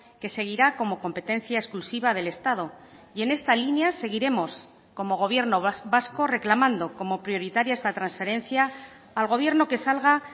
que seguirá como competencia exclusiva del estado y en esta línea seguiremos como gobierno vasco reclamando como prioritaria esta transferencia al gobierno que salga